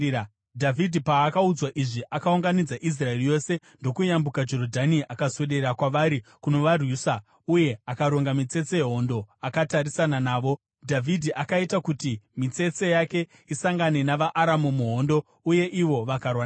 Dhavhidhi paakaudzwa izvi, akaunganidza Israeri yose ndokuyambuka Jorodhani; akaswedera kwavari kunovarwisa uye akaronga mitsetse yehondo akatarisana navo. Dhavhidhi akaita kuti mitsetse yake isangane navaAramu muhondo uye ivo vakarwa naye.